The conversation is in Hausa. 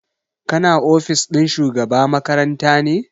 Kana ofis ɗin shugaba makaranta ne?